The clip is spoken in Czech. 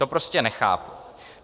To prostě nechápu.